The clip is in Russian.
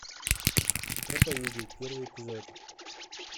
проповедник первый эпизод